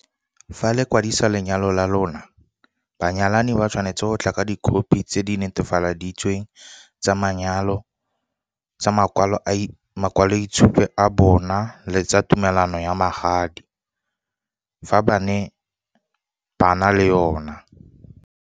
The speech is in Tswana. Fa le kwadisa lenyalo la lona, banyalani ba tshwanetse go tla ka dikhophi tse di netefaleditsweng tsa makwalo itshupo a bona le tsa tumelano ya magadi, fa ba na le yona.